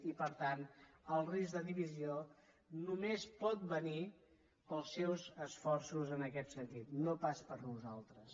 i per tant el risc de divisió només pot venir pels seus esforços en aquest sentit no pas per nosaltres